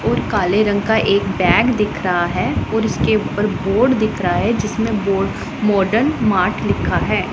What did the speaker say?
और काले रंग का एक बैग दिख रहा है और इसके ऊपर बोर्ड दिख रहा है जिसमें बोर्ड मॉडर्न मार्ट लिखा है।